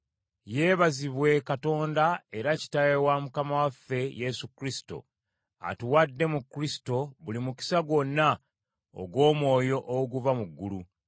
Yeebazibwe Katonda era Kitaawe wa Mukama waffe Yesu Kristo, atuwadde mu Kristo buli mukisa gwonna ogw’omwoyo oguva mu ggulu.